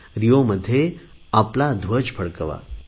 Rio मध्ये ध्वज फडकवा